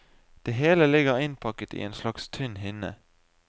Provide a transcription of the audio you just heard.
Det hele ligger innpakket i en slags tynn hinne.